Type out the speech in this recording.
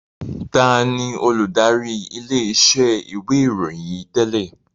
Taàní olùdarí ilé iṣẹ́ ìwé ìròyìn yìí tẹ́lẹ̀?